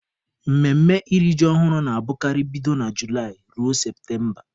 Mmemme iri ji ọhụrụ na-abụkarị bido na Julaị ruo Septemba.